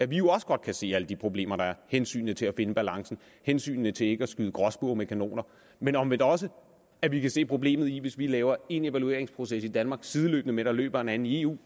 vi også godt kan se alle de problemer der er hensynet til at finde balancen hensynet til ikke at skyde gråspurve med kanoner men omvendt også at vi kan se problemet i at det hvis vi laver en evalueringsproces i danmark sideløbende med at der løber en anden i eu